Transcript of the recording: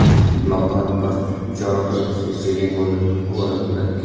मकान पर चारों तरफ से सीलिंग हो र हो रखी है।